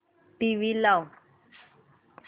TV लाव